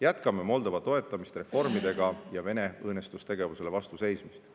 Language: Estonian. Jätkame Moldova toetamist reformidega ja Venemaa õõnestustegevusele vastu seismisel.